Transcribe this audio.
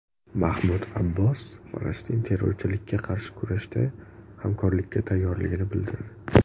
Mahmud Abbos Falastin terrorchilikka qarshi kurashda hamkorlikka tayyorligini bildirdi.